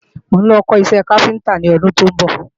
Mò ń lọ kọ́ iṣẹ́ káfíntá lọ́dún tó ń bọ̀